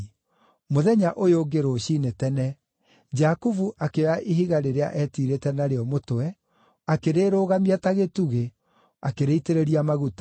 Mũthenya ũyũ ũngĩ rũciinĩ tene, Jakubu akĩoya ihiga rĩrĩa etiirĩte narĩo mũtwe, akĩrĩrũgamia ta gĩtugĩ, akĩrĩitĩrĩria maguta.